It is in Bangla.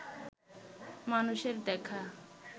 মানুষের দেখা